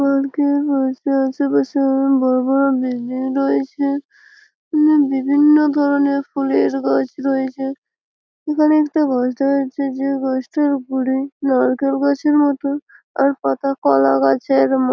park -এ বসে রয়েছে বেস বড়ো বড়ো বিল্ডিং রয়েছে বিভিন্ন ধরণের ফুলের গাছ রয়েছে এখানে একটি গাছ রয়েছে যে গাছটির উপরে নারকেল গাছের মতো আর পাতা কলা গাছের ম--